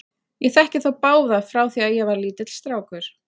Ég þekki þá báða frá því að ég var lítill strákur.